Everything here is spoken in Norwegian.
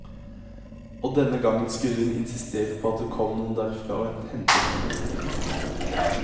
Og denne gangen skulle hun insistere på at det kom noen derfra og hentet henne. punktum